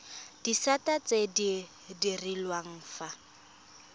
disata tse di direlwang fa